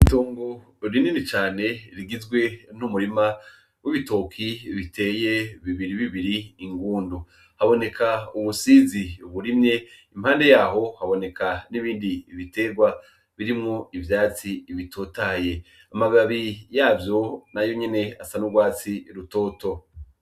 Itongo rinini cane rigizwe n’umurima w’ibitoke biteye bibiri bibiri ingundu. Haboneka umusizi uwurimye, impande yaho haboneka n’ibindi biterwa birimwo ivyatsi bitotahaye . Amababi yavyo nayo nyene asa n’urwatsi rutoto.